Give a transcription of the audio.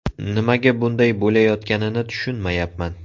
Nimaga bunday bo‘layotganini tushunmayapman.